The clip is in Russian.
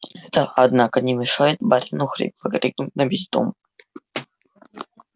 это однако не мешает барину хрипло крикнуть на весь дом